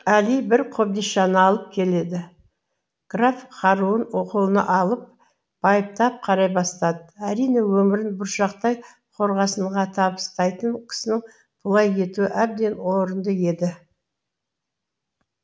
әли бір қобдишаны алып келеді граф қаруын қолына алып байыптап қарай бастады әрине өмірін бұршақтай қорғасынға табыстайтын кісінің бұлай етуі әбден орынды еді